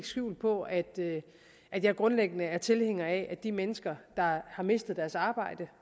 skjul på at at jeg grundlæggende er tilhænger af at de mennesker der har mistet deres arbejde